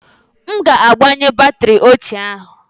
M ga-agbanwe batrị ochie ahụ